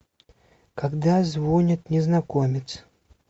когда звонит незнакомец